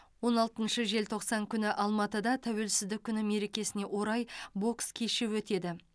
он алтыншы желтоқсан күні алматыда тәуелсіздік күні мерекесіне орай бокс кеші өтеді